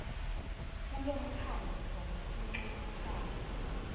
kulomkhandlu ngesincumo sawo